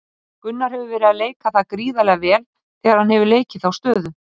Gunnar hefur verið að leika það gríðarlega vel þegar hann hefur leikið þá stöðu.